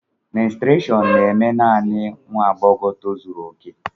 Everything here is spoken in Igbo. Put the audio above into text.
Mènsụràshọn na-eme naanị nwa agbọghọ tozuru oke